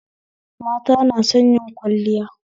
Mata na son yin kwalliya